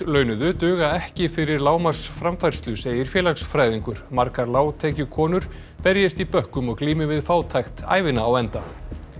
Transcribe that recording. launuðu duga ekki fyrir lágmarksframfærslu segir félagsfræðingur margar berjist í bökkum og glími við fátækt ævina á enda